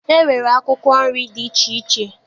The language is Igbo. E nwere akwụkwọ nri dị iche iche.